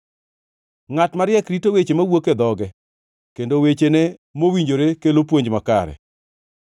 Ngʼat mariek rito weche mawuok e dhoge, kendo wechene mowinjore kelo puonj makare.